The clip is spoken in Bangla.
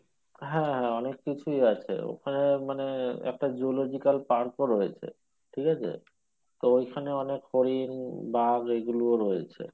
হ্যাঁ অনেক কিছুই আছে ওখানে মানে একটা zoological park ও রয়েছে ঠিক আছে? তো ওইখানে অনেক হরিণ বাঘ এইগুলোও রয়েছে